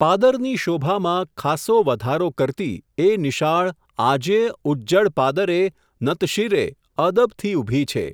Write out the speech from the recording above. પાદરની શોભામાં, ખાસો વધારો કરતી, એ નિશાળ, આજેય, ઉજ્જડ પાદરે, નતશિરે, અદબથી, ઊભી છે.